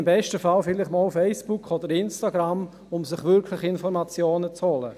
Im besten Fall nutzen diese vielleicht einmal Facebook oder Instagram, um sich wirklich Informationen zu holen.